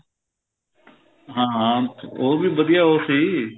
ਹਾਂ ਹਾਂ ਉਹ ਵੀ ਵਧੀਆ ਉਹ ਸੀ